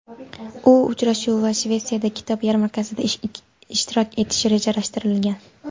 U uchrashuv va Shvetsiyada kitob yarmarkasida ishtirok etishi rejalashtirilgan.